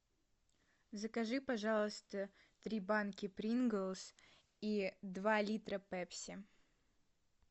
закажи пожалуйста три банки принглс и два литра пепси